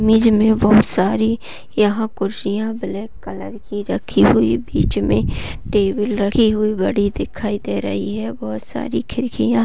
image में बहोत सारी यहाँ कुर्सियाँ ब्लैक कलर की रखी हुई बीच में टेबल रखी हुई घड़ी दिखाई दे रही है बहोत सारी खिड़कियाँ --